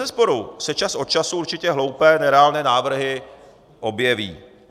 Bezesporu se čas od času určitě hloupé, nereálné návrhy objeví.